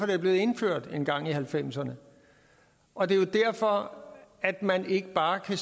det blev indført engang i nitten halvfemserne og det er derfor at man ikke bare kan